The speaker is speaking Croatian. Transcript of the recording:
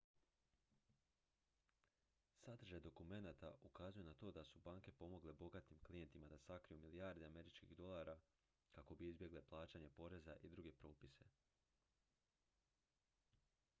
sadržaj dokumenata ukazuje na to da su banke pomogle bogatim klijentima da sakriju milijarde američkih dolara kako bi izbjegli plaćanje poreza i druge propise